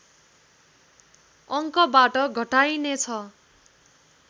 अङ्कबाट घटाइनेछ